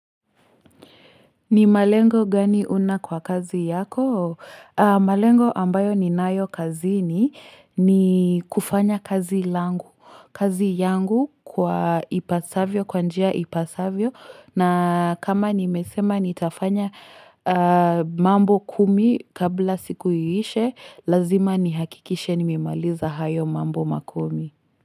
Ni malengo gani una kwa kazi yako? Malengo ambayo ninayo kazini, ni kufanya kazi langu. Kazi yangu kwa ipasavyo. Kwa njia ipasavyo na kama nimesema nitafanya. Mambo kumi kabla siku iishe, lazima nihakikishe nimemaliza hayo mambo makumi.